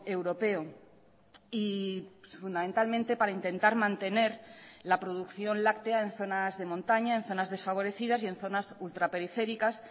europeo y fundamentalmente para intentar mantener la producción láctea en zonas de montaña en zonas desfavorecidas y en zonas ultraperiféricas